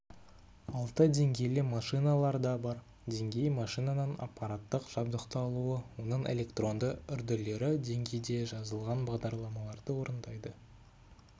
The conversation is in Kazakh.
алты деңгейлі машиналар да бар деңгей машинаның аппараттық жабдықталуы оның электронды үрділері деңгейде жазылған бағдарламаларды орындайды